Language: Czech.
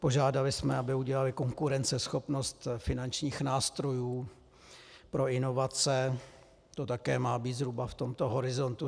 Požádali jsme, aby udělali konkurenceschopnost finančních nástrojů pro inovace, to také má být zhruba v tomto horizontu.